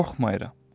Qorxmayıram.